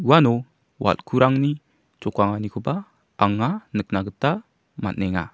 uano wal·kurangni jokanganikoba anga nikna gita man·enga.